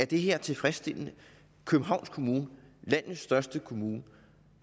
det her tilfredsstillende københavns kommune landets største kommune